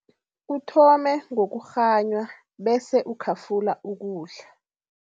Uthome ngokukghanywa bese ukhafula ukudla.